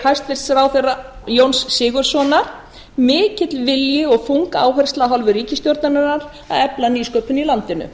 hæstvirts ráðherra jóns sigurðssonar mikill vilji og þung áhersla af hálfu ríkisstjórnarinnar að efla nýsköpun í landinu